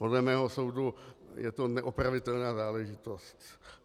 Podle mého soudu je to neopravitelná záležitost.